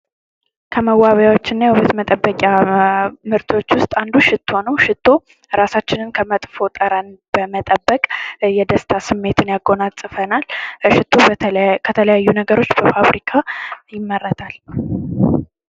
ከመዎቢያዎች እና የውበት መጠበዊያዎች ምርቶች ውስጥ አንዱ ሽቶ ነው። ሽቶ ራሳችንን ከመጥፎ ጠረን በመጠበቅ የደስታ ስሜትን ያጎናፅፈኛል። ሽቶ ከተለያዩ ነገሮች በፋብሪካ ይመረታል።